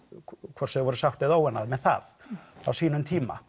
hvort sem þau voru sátt eða óánægð með það á sínum tíma